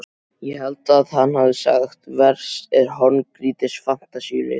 Ég held að hann hafi sagt: Verst er horngrýtis fantasíuleysið.